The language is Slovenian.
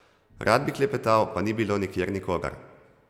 Rad bi klepetal, pa ni bilo nikjer nikogar.